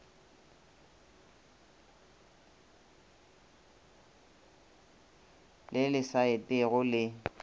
le le sa etego le